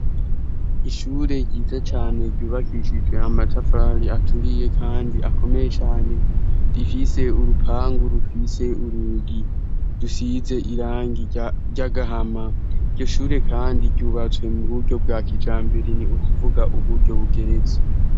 Ishure ryiza cane ryubakishijwe amatafari aturiye kandi akomeye cane rifise urupangu rufise urugi rusize irangi ry'agahama iryo shure kandi ryubatswe mu buryo bwa kijambere ni ukuvuga uburyo bugeretse.